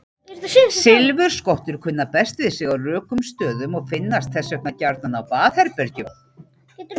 Silfurskottur kunna best við sig á rökum stöðum og finnast þess vegna gjarnan á baðherbergjum.